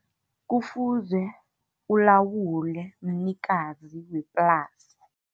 Kufuze, kulawulwe mnikazi weplasi.